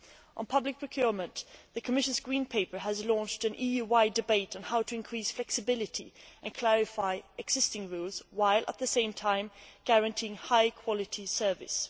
On public procurement, the Commission's Green Paper has launched an EU wide debate on how to increase flexibility and clarify existing rules while, at the same time, guaranteeing high quality services.